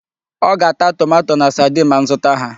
Ọ ga-ata tomato na sadin ma m zụta ha.